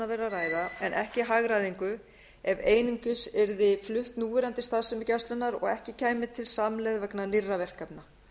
að ræða en ekki hagræðingu ef einungis yrði flutt núverandi starfsemi gæslunnar og ekki kæmi til samlegð vegna nýrra verkefna